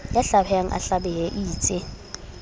ya hlabehang a hlabehe eitse